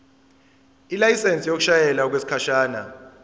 ilayisensi yokushayela okwesikhashana